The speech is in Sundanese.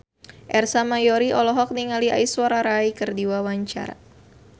Ersa Mayori olohok ningali Aishwarya Rai keur diwawancara